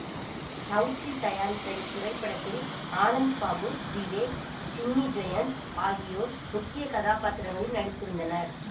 சௌத்ரி தயாரித்த இத்திரைப்படத்தில் ஆனந்த்பாபு விவேக் சின்னி ஜெயந்த் ஆகியோர் முக்கிய கதாபாத்திரங்களில் நடித்திருந்தனர்